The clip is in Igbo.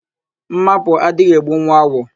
Ḿmápụ̀ adịghị egbu nwa awọ